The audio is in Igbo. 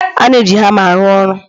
A na-eji hama arụ ọrụ